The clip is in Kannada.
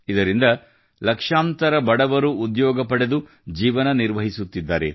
ಇದರಿಂದ ಲಕ್ಷಾಂತರ ಬಡವರು ಉದ್ಯೋಗ ಪಡೆದು ಜೀವನ ನಿರ್ವಹಿಸುತ್ತಿದ್ದಾರೆ